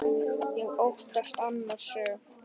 Ég óttast annan söng.